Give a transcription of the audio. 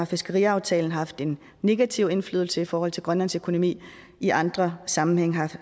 fiskeriaftalen har haft en negativ indflydelse i forhold til grønlands økonomi og i andre sammenhænge